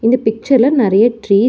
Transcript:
இந்த பிக்சர்ல நெறைய ட்ரீ --